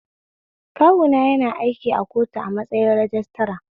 Kawuna na aiki a kotu a matsayin rajistira